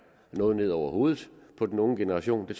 noget ned over hovedet på den unge generation det